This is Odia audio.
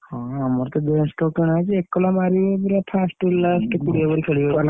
ହଁ ଆମର ତ କିଣା ହେଇଛି ଏକଲା ମାରିବେ ପୁରା first ରୁ last ଯାଏ କୋଡିଏ over ଖେଳିବେ ।